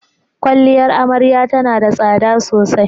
Kwaliyar Amarya tana da tsada sosai.